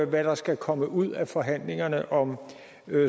hvad der skal komme ud af forhandlingerne om